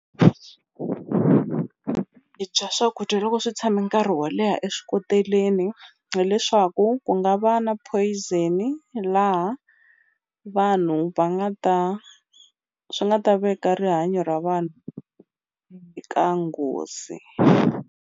Hi dya swakudya loko swi tshame nkarhi wo leha e swikoteleni hileswaku ku nga va na poison laha vanhu va nga ta swi nga ta veka rihanyo ra vanhu eka nghozi.